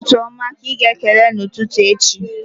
Ọ bụ ụtụtụ oma ka ịga-ekele n'ụtụtụ echi?